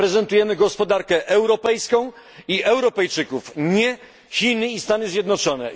Reprezentujemy gospodarkę europejską i Europejczyków nie Chiny i Stany Zjednoczone.